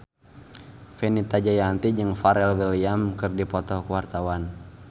Fenita Jayanti jeung Pharrell Williams keur dipoto ku wartawan